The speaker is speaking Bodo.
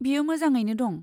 बियो मोजाङैनो दं।